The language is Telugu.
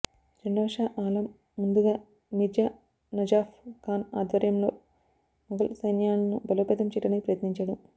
రెండవ షా ఆలం ముందుగా మిర్జా నజాఫ్ ఖాన్ ఆధ్వర్యంలో ముఘల్ సైన్యాలను బలోపేతం చేయడానికి ప్రయత్నించాడు